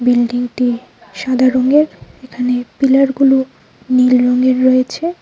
বিল্ডিংটি সাদা রঙের এখানে পিলারগুলো নীল রঙের রয়েছে।